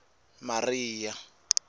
maria